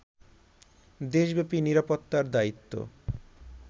দেশব্যাপী নিরাপত্তার দায়িত্ব